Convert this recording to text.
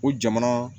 O jamana